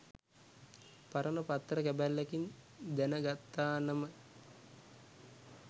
පරණ පත්තර කැබැල්ලකින් දැන ගත්තානම